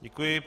Děkuji.